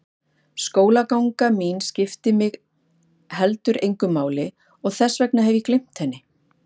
Skólaganga mín skiptir mig heldur engu máli og þess vegna hef ég gleymt henni.